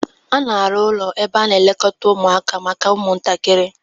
A na-arụ ụlọ ebe a na-elekọta ụmụaka maka ụmụntakịrị